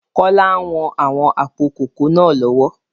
Kola ń wọn àwọn àpò kòkó náà lọ́wọ́